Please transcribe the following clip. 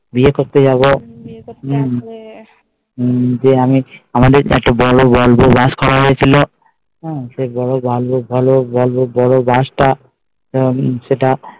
বিয়ে করতে যাবো আমাদের বড়ো একটা volvo bus করা হয়েছিল সে volvo bus টা সেটা